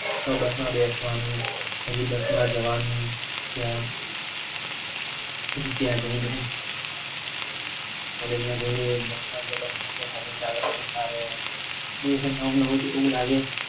ના આપણ ને ના ફાવે બસ માં બેસવાનું પછી બસમાં જવાનું ક્યાં પછી ત્યાં જયને નવું નવું તો એવું લાગે